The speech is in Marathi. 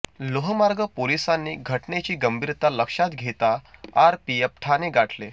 लोहमार्ग पोलिसांनी घटनेची गंभीरता लक्षात घेता आरपीएफ ठाणे गाठले